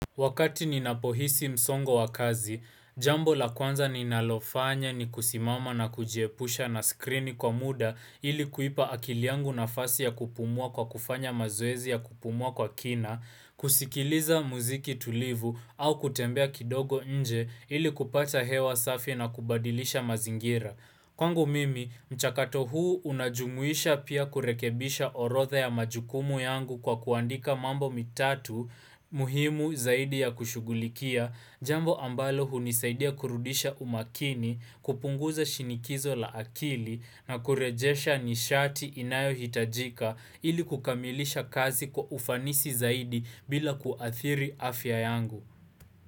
Wakati ninapohisi msongo wakazi, jambo la kwanza ninalofanya ni kusimama na kujiepusha na skrini kwa muda ili kuipa akili yangu nafasi ya kupumua kwa kufanya mazoezi ya kupumua kwa kina, kusikiliza muziki tulivu au kutembea kidogo nje ili kupata hewa safi na kubadilisha mazingira. Kwangu mimi, mchakato huu unajumuisha pia kurekebisha orodhe ya majukumu yangu kwa kuandika mambo matatu muhimu zaidi ya kushughulikia, jambo ambalo hunisaidia kurudisha umakini, kupunguza shinikizo la akili na kurejesha nishati inayo hitajika ili kukamilisha kazi kwa ufanisi zaidi bila kuathiri afya yangu.